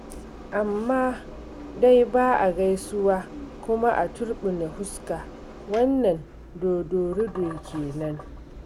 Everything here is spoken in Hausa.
Amma dai ba a gaisuwa kuma a turɓune fuska, wannan dodorido ke nan.